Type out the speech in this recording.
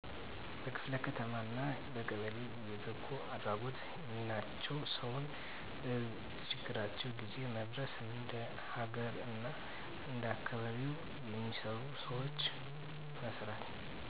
በክፍለ ከተማ አና በቀበሌ የበጎአድራጎት :ሚናቸው ሰውን በችግራቸው ጊዜው መድረስ እንደ ሀገር አና እንደአካባቢው የሚሰሩ ስራወችን መስራት